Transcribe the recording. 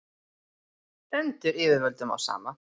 stendur yfirvöldum á sama